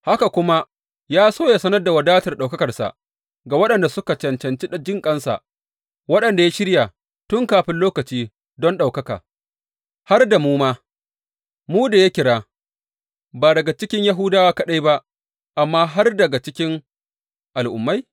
Haka kuma ya so yă sanar da wadatar ɗaukakarsa ga waɗanda suka cancanci jinƙansa, waɗanda ya shirya tun kafin lokaci don ɗaukaka har da mu ma, mu da ya kira, ba daga cikin Yahudawa kaɗai ba amma har ma daga cikin Al’ummai?